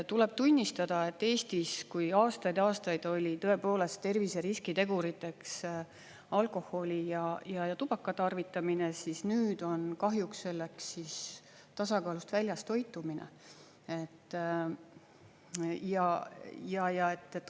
Tuleb tunnistada, et Eestis kui aastaid ja aastaid oli tõepoolest terviseriskiteguriteks alkoholi ja tubaka tarvitamine, siis nüüd on kahjuks selleks tasakaalust väljas toitumine.